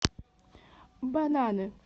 бананы